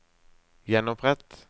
gjenopprett